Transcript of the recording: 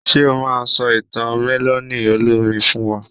Ṣe o ma sọ ìtàn mẹ́lọ̀nì olómi fún wa?